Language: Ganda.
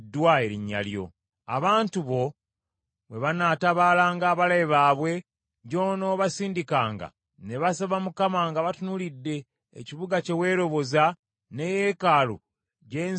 “Abantu bo bwe banaatabaalanga abalabe baabwe gy’onoobasindikanga ne basaba Mukama nga batunuulidde ekibuga kye weeroboza ne yeekaalu gye nzimbidde erinnya lyo,